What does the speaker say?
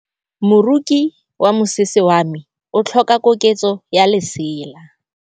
Moroki wa mosese wa me o tlhoka koketsô ya lesela.